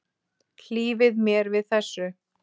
Hlífið mér við þessu!